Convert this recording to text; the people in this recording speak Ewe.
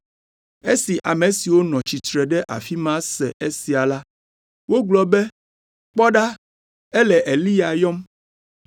Esi ame siwo nɔ tsitre ɖe afi ma se esia la, wogblɔ be, “Kpɔ ɖa, ele Eliya yɔm.”